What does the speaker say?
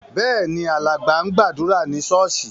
Bẹ́ẹ̀ ni, alàgbà ń gbàdúrà ní ṣọ́ọ́ṣì.